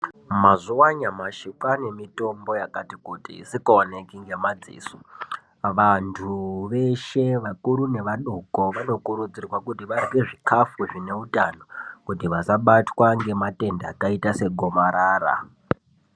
Mazuva anyamashi kwane mitombo yakati kuti isikaoneki ngemadziso. Vantu veshe vakuru nevadoko vanokurudzirwa kuti vahe zvikafu zvineutano kuti vasabatwa ngematenda akaita segomarara.